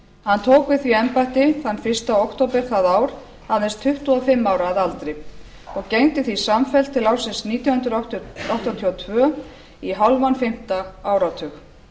hann tók við því embætti fyrsta október það ár aðeins tuttugu og fimm ára að aldri og gegndi því samfellt til ársins nítján hundruð áttatíu og tvö í hálfan fimmta áratug